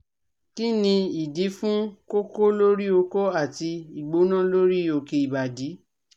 Kini idi fun koko lori oko ati igbona lori oke ibadi?